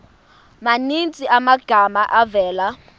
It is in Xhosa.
maninzi amagama avela